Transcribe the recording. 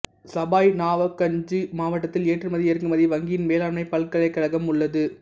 சபாய் நவாப்கஞ்ச் மாவட்டத்தில் ஏற்றுமதி இறக்குமதி வங்கியின் வேளாண்மைப் பல்கலைக்கழகம் உள்ளது